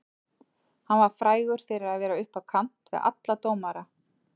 Hann var frægur fyrir að vera upp á kant við alla dómara.